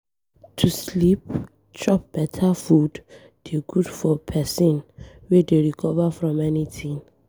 To sleep, chop beta food dey good for pesin wey dey recover from anything.